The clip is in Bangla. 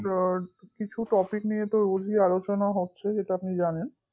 আমাদের কিছু topic নিয়ে তো রোজই কিছু আলোচনা হচ্ছে সেটা আপনি জানেন